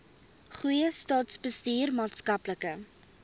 goeie staatsbestuur maatskaplike